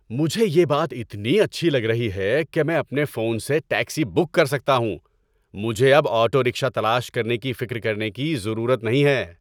مجھے یہ بات اتنی اچھی لگ رہی ہے کہ میں اپنے فون سے ٹیکسی بک کر سکتا ہوں۔ مجھے اب آٹو رکشہ تلاش کرنے کی فکر کرنے کی ضرورت نہیں ہے۔